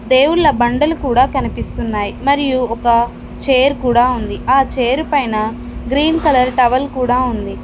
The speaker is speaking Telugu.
దేవుళ్ళ బండలు కూడా కనిపిస్తున్నాయ్ మరియు ఒక చైర్ కూడా ఉంది ఆ చైర్ పైన గ్రీన్ కలర్ టవల్ కూడా ఉంది.